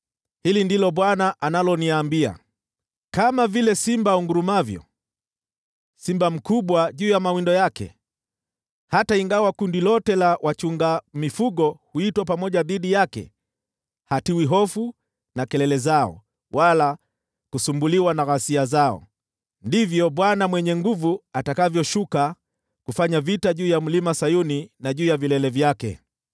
Hili ndilo Bwana analoniambia: “Kama vile simba angurumavyo, simba mkubwa juu ya mawindo yake: hata ingawa kundi lote la wachunga mifugo huitwa pamoja dhidi yake, hatiwi hofu na kelele zao wala kusumbuliwa na ghasia zao; ndivyo Bwana Mwenye Nguvu Zote atakavyoshuka kufanya vita juu ya Mlima Sayuni na juu ya vilele vyake.